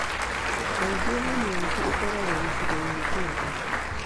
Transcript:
Kaingĩ hernias ĩkoragwo gĩcigoinĩ kĩa nda.